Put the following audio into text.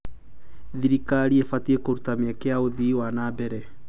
Thirikari ĩbatiĩ kũruta mĩeke ya ũthii wa na mbere.